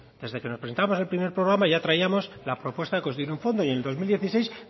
desde que presentamos al primer programa ya traíamos la propuesta de constituir un fondo y en dos mil dieciséis